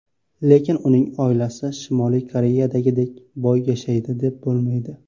Lekin uning oilasi Shimoliy Koreyadagidek boy yashaydi, deb bo‘lmaydi.